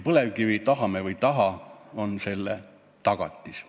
Põlevkivi, tahame või ei taha, on selle tagatis.